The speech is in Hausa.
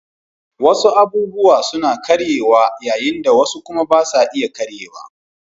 Wasu abubuwa suna karyewa yayin da wasu kuma ba sa iya karyewa